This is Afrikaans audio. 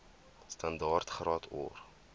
standaard graad or